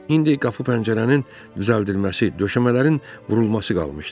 İndi qapı pəncərənin düzəldilməsi, döşəmələrin vurulması qalmışdı.